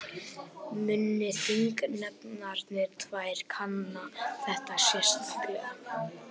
Muni þingnefndirnar tvær kanna þetta sérstaklega